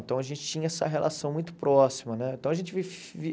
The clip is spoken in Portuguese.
Então, a gente tinha essa relação muito próxima né então a gente vivi.